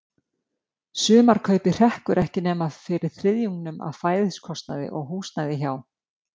Sumarkaupið hrekkur ekki nema fyrir þriðjungnum af fæðiskostnaði og húsnæði hjá